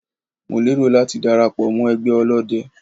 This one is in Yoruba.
Mo lérò láti dara pọ̀ mọ́ ẹgbẹ́ ọlọ́dẹ.